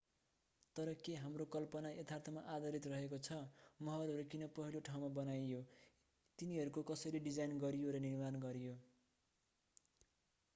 तर के हाम्रो कल्पना यथार्थमा आधारित रहेको छ महलहरू किन पहिलो ठाउँमा बनाइयो तिनीहरूको कसरी डिजाईन गरियो र निर्माण गरियो